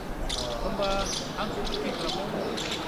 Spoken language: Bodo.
होमबा आंखौ बुकिं खालामनायाव मदद हो।